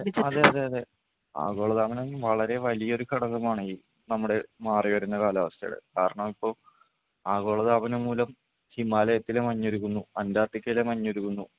അതെ അതെ അതെ ആഗോളതാപനം വളരെ വലിയൊരു ഘടകമാണ് ഈ നമ്മുടെ മാറിവരുന്ന കാലാവസ്ഥേടെ കാരണം ഇപ്പോ ആഗോളതാപനം മൂലം ഹിമാലയത്തിലെ മഞ്ഞുരുകുന്നു അൻറാർട്ടിക്കയിലെ മഞ്ഞുരുകുന്നു.